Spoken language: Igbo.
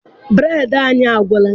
Bureedi anyị agwụla.